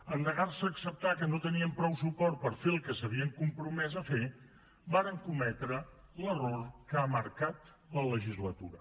en negar se a acceptar que no tenien prou suport per fer el que s’havien compromès a fer varen cometre l’error que ha marcat la legislatura